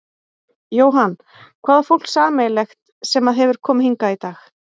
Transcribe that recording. Jóhann: Hvað á fólk sameiginlegt sem að hefur komið hingað í dag?